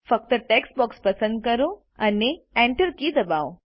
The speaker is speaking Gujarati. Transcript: ફક્ત ટેક્સ્ટ બોક્સ પસંદ કરો અને Enter કી દબાવો